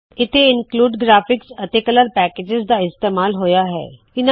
ਇੱਥੇ include graphics include graphics ਅਤੇ colour package colour packages ਦਾ ਇਸਤੇਮਾਲ ਹੋਇਆ ਹੈ